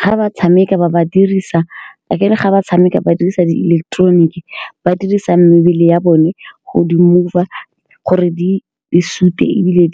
Ga ba tshameka ba ba dirisa, akere ga ba tshameka ba dirisa di ileketeroniki ba dirisa mebele ya bone go di mover gore di supe, ebile